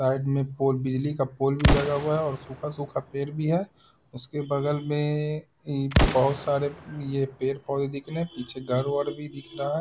Side में pole बिजली का पोल भी लगा हुआ है और सूखा-सूखा पेड़ भी है उसके बगल में इ बहुत सारे ये पेड़-पौधे दिखने है पीछे घर वर भी दिख रहा है।